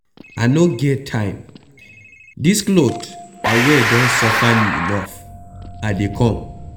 I no get time dis cloth I wear don suffer me enough, I dey come.